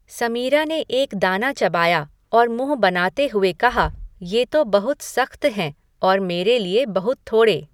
समीरा ने एक दाना चबाया और मुँह बनाते हुए कहा, "ये तो बहुत सख़्त हैं और मेरे लिए बहुत थोड़े"।